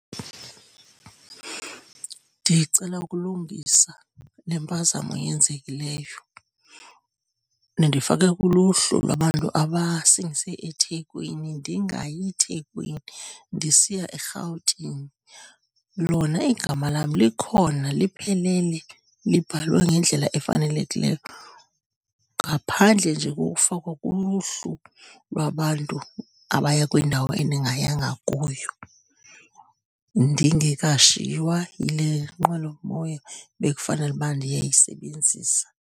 Ndicela ukulungisa lempazamo eyenzekileyo. Nindifake kuluhlu lwabantu abasingise eThekwini ndingayi Thekwini, ndisiya eRhawutini. Lona igama lam likhona liphelele, libhalwe ngendlela efanelekileyo ngaphandle nje kokufakwa kuluhlu lwabantu abaya kwindawo endingayanga kuyo. Ndingekashiywa yile nqwelomoya bekufanele uba ndiyayisebenzisa.